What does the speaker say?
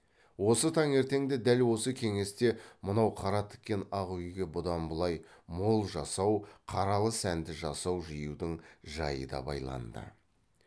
осы таңертеңде дәл осы кеңесте мынау қара тіккен ақ үйге бұдан былай мол жасау қаралы сәнді жасау жиюдың жайы да байланды